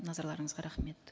назарларыңызға рахмет